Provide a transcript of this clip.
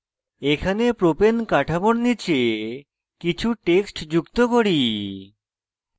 এখানে propane কাঠামোর নীচে কিছু text যুক্ত করি